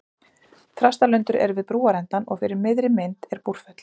Þrastalundur er við brúarendann og fyrir miðri mynd er Búrfell.